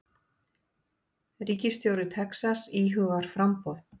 Ríkisstjóri Texas íhugar framboð